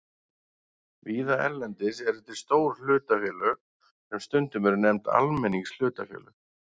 Víða erlendis eru til stór hlutafélög sem stundum eru nefnd almenningshlutafélög.